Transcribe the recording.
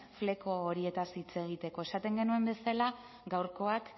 fleko horietaz hitz egiteko esaten genuen bezala gaurkoak